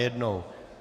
Najednou.